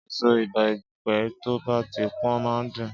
Ésó ibèpè tó bà ti pòn má n dún